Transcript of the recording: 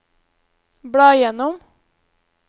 bla gjennom